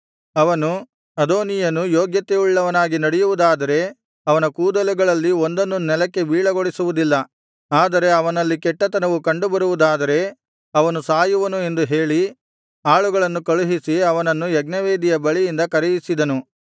ಅವನು ಅದೋನೀಯನು ಯೋಗ್ಯತೆಯುಳ್ಳವನಾಗಿ ನಡೆಯುವುದಾದರೆ ಅವನ ಕೂದಲುಗಳಲ್ಲಿ ಒಂದನ್ನೂ ನೆಲಕ್ಕೆ ಬೀಳಗೊಡಿಸುವುದಿಲ್ಲ ಆದರೆ ಅವನಲ್ಲಿ ಕೆಟ್ಟತನವು ಕಂಡುಬರುವುದಾದರೆ ಅವನು ಸಾಯುವನು ಎಂದು ಹೇಳಿ ಆಳುಗಳನ್ನು ಕಳುಹಿಸಿ ಅವನನ್ನು ಯಜ್ಞವೇದಿಯ ಬಳಿಯಿಂದ ಕರೆಯಿಸಿದನು